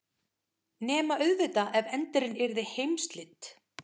Nema auðvitað ef endirinn yrði heimsslit.